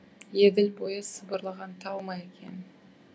еділ бойы сыбырлаған тал ма екен